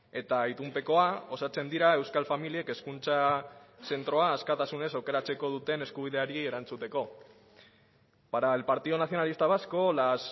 eta itunpekoa osatzen dira euskal familiek hezkuntza zentroa askatasunez aukeratzeko duten eskubideari erantzuteko para el partido nacionalista vasco las